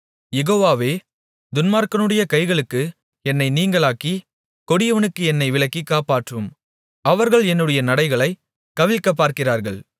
யெகோவாவே துன்மார்க்கனுடைய கைகளுக்கு என்னை நீங்கலாக்கி கொடியவனுக்கு என்னை விலக்கி காப்பாற்றும் அவர்கள் என்னுடைய நடைகளைக் கவிழ்க்கப்பார்க்கிறார்கள்